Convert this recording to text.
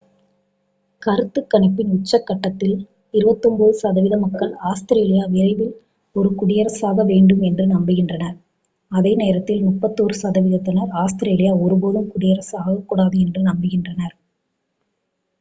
கருத்துக் கணிப்பின் உச்சக்கட்டத்தில் 29 சதவீத மக்கள் ஆஸ்திரேலியா விரைவில் ஒரு குடியரசாக வேண்டும் என்று நம்புகின்றனர் அதே நேரத்தில் 31 சதவிகிதத்தினர் ஆஸ்திரேலியா ஒருபோதும் குடியரசாக ஆகக்கூடாது என்று நம்புகின்றனர்